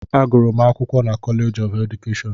Agụrụ m akwụkwọ na Kọleeji keedukeshọn.